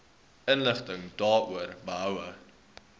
inligting daaroor behoue